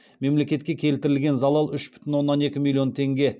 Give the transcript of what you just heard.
мемлекетке келтірілген залал үш бүтін оннан екі миллион теңге